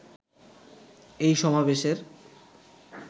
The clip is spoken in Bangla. এই সমাবেশের